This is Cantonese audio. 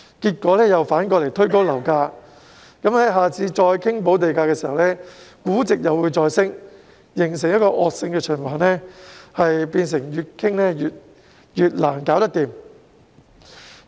結果反而推高樓價，到了下次再討論補地價時，估值又會再升，形成惡性循環，變成不斷討論但卻無法達成協議。